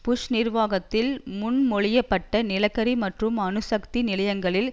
push நிர்வாகத்தில் முன் மொழியப்பட்ட நிலக்கரி மற்றும் அணுசக்தி நிலையங்களில்